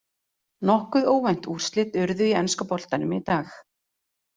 Nokkuð óvænt úrslit urðu í enska boltanum í dag.